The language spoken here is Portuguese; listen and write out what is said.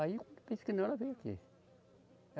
Aí, quando pensa que não, ela veio aqui.